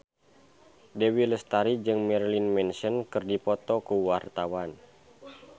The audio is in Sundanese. Dewi Lestari jeung Marilyn Manson keur dipoto ku wartawan